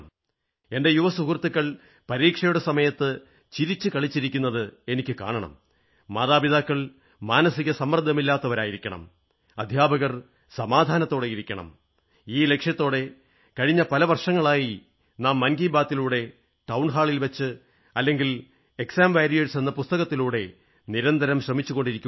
എന്റെ യുവ സുഹൃത്തുക്കൾ പരീക്ഷയുടെ സമയത്ത് ചിരിച്ചുകളിച്ചിരിക്കുന്നതു കാണണം മാതാപിതാക്കൾ മാനസികസമ്മർദ്ദമില്ലാത്തവരായിരിക്കണം അധ്യാപകർ സമാധാനത്തോടെയിരിക്കണം എന്നെല്ലാമുള്ള ലക്ഷ്യത്തോടെ കഴിഞ്ഞ പല വർഷങ്ങളായി നാം മൻ കീ ബാത്തിലൂടെ ടൌൺ ഹാളിലൂടെയോ അല്ലെങ്കിൽ എക്സാം വാരായേഴ്സ് എന്ന പുസ്തകത്തിലൂടെയോ നിരന്തരം ശ്രമിച്ചുകൊണ്ടിരിക്കയാണ്